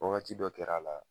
Wagati dɔ kɛr'a la